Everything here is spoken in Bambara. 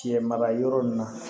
Cɛ mara yɔrɔ nin na